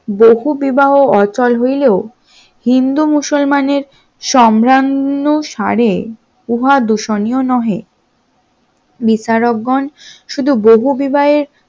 বহুবিবাহ অটল হইলেও হিন্দু মুসলমানের সম্ভ্রান্ত সারে উহা দূষণীয় নহে, বিচারকগণ শুধু বহুবিবাহে